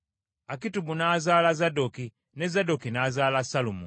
Akitubu n’azaala Zadooki, ne Zadooki n’azaala Sallumu;